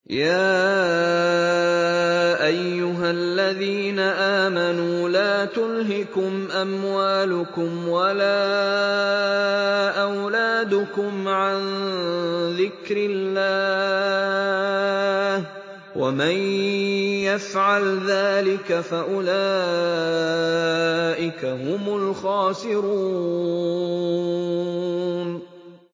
يَا أَيُّهَا الَّذِينَ آمَنُوا لَا تُلْهِكُمْ أَمْوَالُكُمْ وَلَا أَوْلَادُكُمْ عَن ذِكْرِ اللَّهِ ۚ وَمَن يَفْعَلْ ذَٰلِكَ فَأُولَٰئِكَ هُمُ الْخَاسِرُونَ